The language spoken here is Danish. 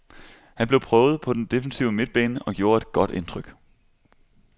Han blev prøvet på den defensive midtbane og gjorde et godt indtryk.